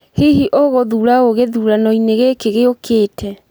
Hihi ũgũthuura ũũ gĩthuurano-inĩ gĩkĩ gĩũkĩte?